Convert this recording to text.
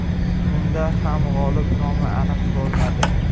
Unda ham g‘olib nomi aniq bo‘lmadi.